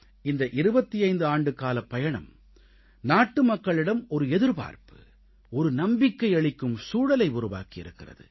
இந்த 25 ஆண்டுகாலம் பயணம் நாட்டுமக்களிடம் ஒரு எதிர்பார்ப்பு ஒரு நம்பிக்கை அளிக்கும் சூழலை உருவாக்கி இருக்கிறது